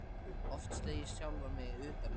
Oft slegið sjálfan mig utan undir.